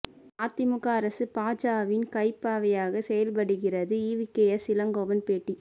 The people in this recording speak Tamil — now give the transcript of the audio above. அதிமுக அரசு பாஜவின் கைப்பாவையாக செயல்படுகிறது ஈவிகேஎஸ் இளங்கோவன் பேட்டி